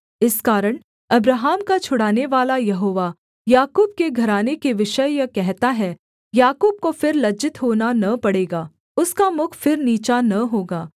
इस कारण अब्राहम का छुड़ानेवाला यहोवा याकूब के घराने के विषय यह कहता है याकूब को फिर लज्जित होना न पड़ेगा उसका मुख फिर नीचा न होगा